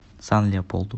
сан леополду